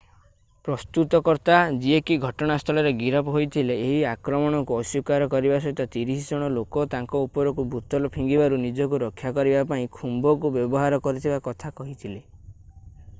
ପ୍ରସ୍ତୁତକର୍ତ୍ତା ଯିଏ କି ଘଟଣାସ୍ଥଳରେ ଗିରଫ ହୋଇଥିଲେ ଏହି ଆକ୍ରମଣକୁ ଅସ୍ଵୀକାର କରିବା ସହିତ 30 ଜଣ ଲୋକ ତାଙ୍କ ଉପରକୁ ବୋତଲ ଫିଙ୍ଗିବାରୁ ନିଜକୁ ରକ୍ଷା କରିବା ପାଇଁ ଖୁମ୍ବ କୁ ବ୍ୟବହାର କରିଥିବା କଥା କହିଥିଲେ